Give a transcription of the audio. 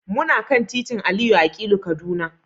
Muna kan titin Aliyu Akilu, Kaduna.